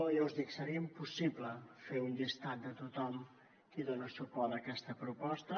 ja us dic seria impossible fer un llistat de tothom qui dona suport a aquesta proposta